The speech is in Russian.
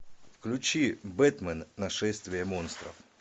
включи бэтмен нашествие монстров